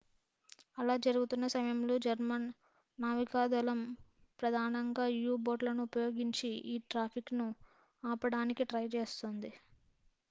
అలా జరుగుతున్న సమయంలో జర్మన్ నావికాదళం ప్రధానంగా u-బోట్లను ఉపయోగించి ఈ ట్రాఫిక్‌ను ఆపడానికి ట్రై చేస్తోంది